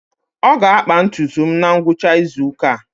Ọ ga-akpa ntutu m na ngwụcha izu ụka a.